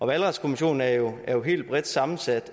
valgretskommissionen er jo jo helt bredt sammensat